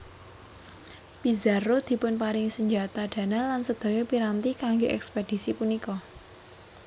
Pizarro dipunparingi senjata dana lan sedaya piranti kangge ekspedisi punika